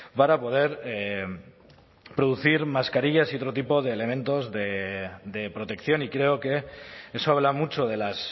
para poder producir mascarillas y otro tipo de elementos de protección y creo que eso habla mucho de las